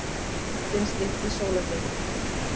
Skjálftinn stytti sólarhringinn